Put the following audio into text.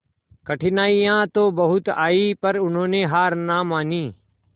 कठिनाइयां तो बहुत आई पर उन्होंने हार ना मानी